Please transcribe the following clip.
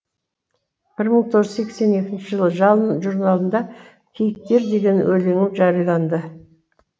бір мың тоғыз жүз сексен екінші жылы жалын журналында киіктер деген өлеңім жарияланды